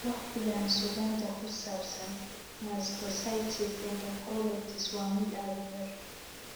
Waqtigaan, suugaanta ku saabsan mastocytic enterocolitis waa mid aad u yar.